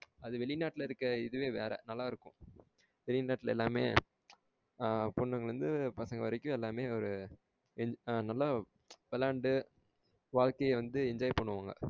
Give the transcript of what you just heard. அது வெளிநாட்டுல இருக்க இதுவே வேற நல்லா இருக்கும். வெளி நாட்டுல எல்லாமே அஹ பொண்ணுங்கள இருந்து பசங்க வரைக்கும் எல்லாமே ஒரு நல்லா விளையாண்டு வாழ்க்கைய வந்து enjoy பண்ணுவாங்க